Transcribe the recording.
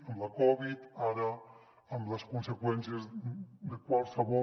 amb la covid ara amb les conseqüències de qualsevol